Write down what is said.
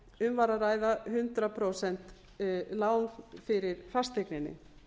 um var að ræða hundrað prósent lán fyrir fasteigninni